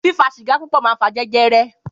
Fífà sígà púpọ̀ mà ń fà jẹjẹrẹ.